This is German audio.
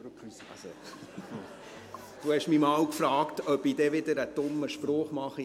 Sie haben mich einmal gefragt, ob ich dann wieder einen dummen Spruch mache.